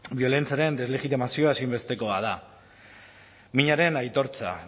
biolentziaren deslegitimazioa ezinbestekoa da minaren aitortza